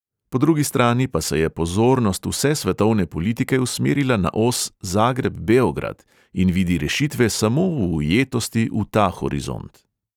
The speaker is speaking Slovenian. Po drugi strani pa se je pozornost vse svetovne politike usmerila na os zagreb – beograd in vidi rešitve samo v ujetosti v ta horizont.